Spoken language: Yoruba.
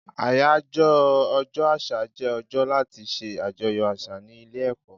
Àyájọ́ ọjọ́ àṣà jẹ́ ọjọ́ láti ṣe àjọyọ̀ àṣà ní ilé ẹ̀kọ́.